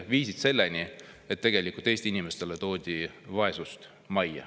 Tegelikult need viisid selleni, et Eesti inimestele toodi vaesus majja.